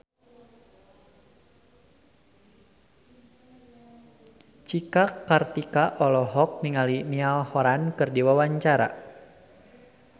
Cika Kartika olohok ningali Niall Horran keur diwawancara